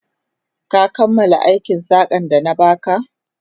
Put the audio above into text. Ka kammala aikin saƙan da na ba ka?